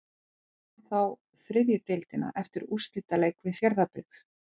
Liðið vann þá þriðju deildina eftir úrslitaleik við Fjarðabyggð.